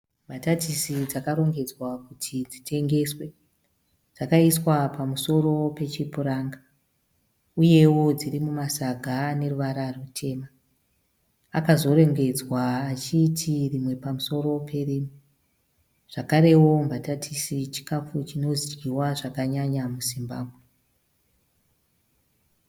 Mbatatisi dzakarongedzwa kuti dzitengeswe. Dzakaiswa pamusoro pechipuranga uyewo dziri mumasaga ane ruvara rutema akazorembedzwa achiti rimwe pamusoro perimwe. Zvakarewo mbatatisi chikafu chinodyiwa zvakanyanya muZimbabwe.